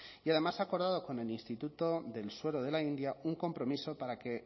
y además ha acordado con el instituto del suero de la india un compromiso para que